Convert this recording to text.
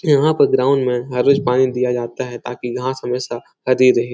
यहाँ पे ग्राउंड में हर रोज़ पानी दिया जाता हैं ताकि घास हमेशा हरी रहे।